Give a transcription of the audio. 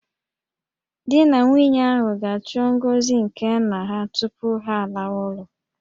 Di na nwunye ahụ ga-achọ ngọzi nke nna ha tupu ha alawa ụlọ